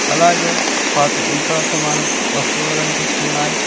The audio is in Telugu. అలాగే పాత ఇనుప సామాను వస్తువులు కనిపిస్తున్నాయి.